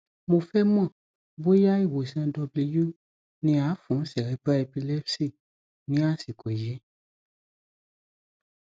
mo fẹ mọ bóyá ìwòsàn w ní à fún cerebral epilepsy ní àsìkò yìí